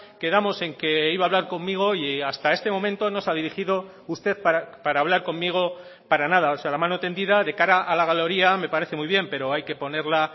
quedamos en que iba a hablar conmigo y hasta este momento no se ha dirigido usted para hablar conmigo para nada o sea la mano tendida de cara a la galería me parece muy bien pero hay que ponerla